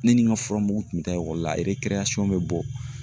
Ne ni n ka fura mugu tun bɛ taa la bɛ bɔ.